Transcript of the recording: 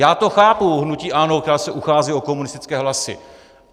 Já to chápu, hnutí ANO, které se uchází o komunistické hlasy.